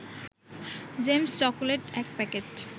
James chocolate ১ packet